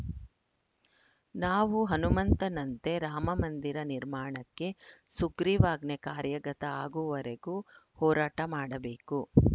ನಾವು ಹನುಮಂತನಂತೆ ರಾಮಮಂದಿರ ನಿರ್ಮಾಣಕ್ಕೆ ಸುಗ್ರೀವಾಜ್ಞೆ ಕಾರ್ಯಗತ ಆಗುವವರೆಗೂ ಹೋರಾಟ ಮಾಡಬೇಕು